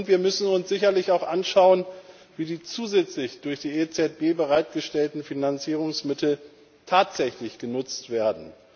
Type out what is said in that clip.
Wir müssen uns sicherlich auch anschauen, wie die zusätzlich durch die EZB bereitgestellten Finanzierungsmittel tatsächlich genutzt werden.